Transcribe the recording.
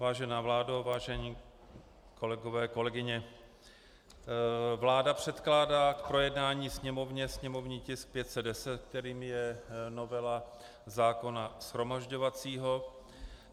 Vážená vládo, vážení kolegové, kolegyně, vláda předkládá k projednání Sněmovně sněmovní tisk 510, kterým je novela zákona shromažďovacího.